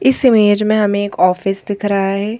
इस इमेज में हमें एक ऑफिस दिख रहा है।